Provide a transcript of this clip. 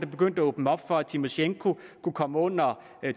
begyndte at åbne op for at tymosjenko kunne komme under